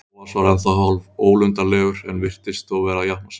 Bóas var ennþá hálfólundarlegur en virtist þó vera að jafna sig.